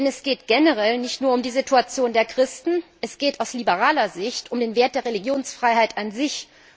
Denn es geht generell nicht nur um die Situation der Christen, es geht aus liberaler Sicht um den Wert der Religionsfreiheit an sich.